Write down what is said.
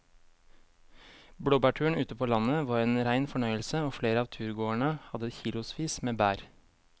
Blåbærturen ute på landet var en rein fornøyelse og flere av turgåerene hadde kilosvis med bær.